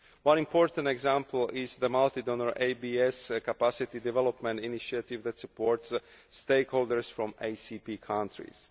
One important example is the multi donor ABS Capacity Development Initiative that supports stakeholders from ACP countries.